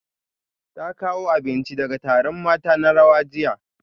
Ta kawo abinci daga taron mata na rawa jiya